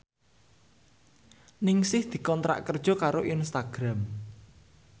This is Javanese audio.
Ningsih dikontrak kerja karo Instagram